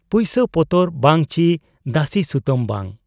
ᱯᱩᱭᱥᱟᱹ ᱯᱚᱛᱚᱨ ᱵᱟᱝ ᱪᱤ ᱫᱟᱹᱥᱤ ᱥᱩᱛᱟᱹᱢ ᱵᱟᱝ ᱾